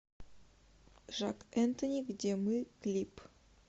жак энтони где мы клип